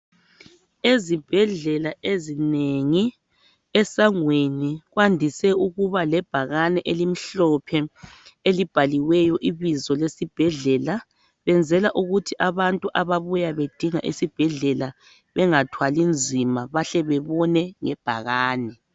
Ezibhedlela ezinengi, esangweni kwandise ukuba lebhakani elimhlophe elibhaliweyo ibizo esibhedlela . Benzela ukuthi abantu ababuya bedinga esibhedlela bengathwali nzima bahle bebone le bhakani .